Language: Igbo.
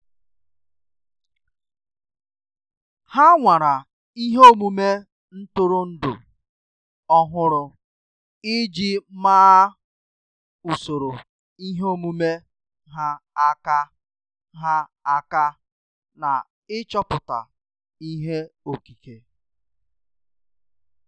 Há nwàrà ihe omume ntụrụndụ ọ́hụ́rụ́ iji màá usoro ihe omume ha aka ha aka na ịchọ̀pụ́tá ihe okike.